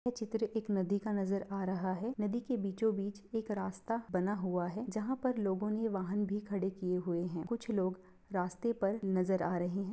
ये चित्र एक नदी का नजर आ रहा है | नदी के बीचो बीच एक रास्ता बना हुआ है जहाँ पर लोगों ने वाहन भी खड़े किये हुए हैं | कुछ लोग रास्ते पर नज़र आ रहे हैं।